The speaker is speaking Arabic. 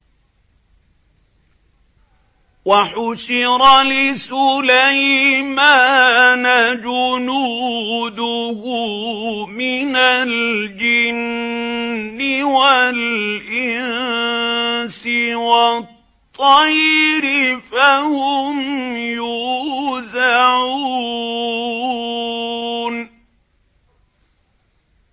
وَحُشِرَ لِسُلَيْمَانَ جُنُودُهُ مِنَ الْجِنِّ وَالْإِنسِ وَالطَّيْرِ فَهُمْ يُوزَعُونَ